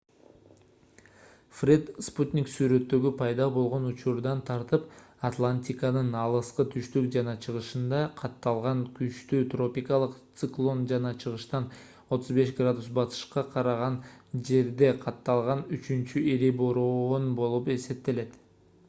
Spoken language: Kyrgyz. фред спутник сүрөттөрү пайда болгон учурдан тартып атлантиканын алыскы түштүк жана чыгышында катталган күчтүү тропикалык циклон жана чыгыштан 35° батышка караган жерде катталган үчүнчү ири бороон болуп эсептелет